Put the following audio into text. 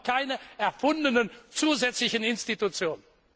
Wir brauchen keine erfundenen zusätzlichen Institutionen.